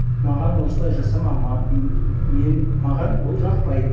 маған осылай жасама м маған бұл жақпайды